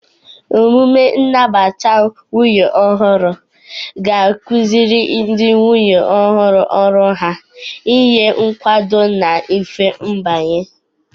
Emume nnabata nwunye ọhụrụ ga-akụziri ndị nwunye ọhụrụ ọrụ ha, nye nkwado na mfe mbanye.